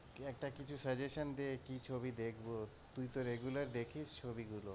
একটা কিছু suggestion দে কি ছবি দেখব, তুই তো regular দেখিস ছবিগুলো।